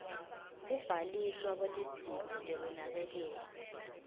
kubhaliswa kwetidzingo tekunakekelwa